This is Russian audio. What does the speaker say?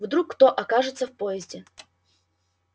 вдруг кто окажется в подъезде